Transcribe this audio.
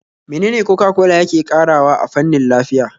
Menene Coca-cola yake ƙarawa a fannin lafiya?